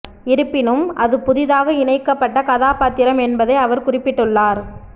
இருப்பினும் அது புதிதாக இணைக்கப்பட்ட கதாபாத்திரம் என்பதை அவர் குறிப்பிட்டுள்ளார்